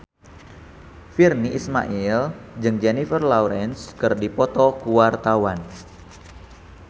Virnie Ismail jeung Jennifer Lawrence keur dipoto ku wartawan